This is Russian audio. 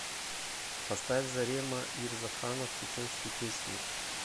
поставь зарема ирзаханов чеченские песни